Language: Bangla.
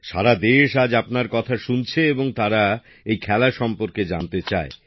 সারা দেশ আজ আপনার কথা শুনছে এবং তারা এই খেলা সম্পর্কে জানতে চায়